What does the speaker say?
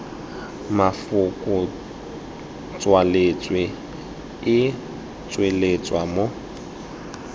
mafoko tswaletswe e tsweletswa mo